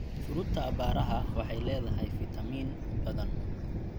Fruita aabbaaraha waxay leedahay fiitamiin badan.